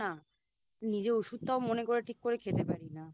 নিজে ওষুধটাও মনে করে ঠিক করে খেতে পারি না